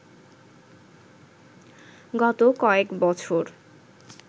গত কয়েক বছর